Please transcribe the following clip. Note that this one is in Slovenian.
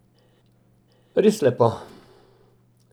Res lepo.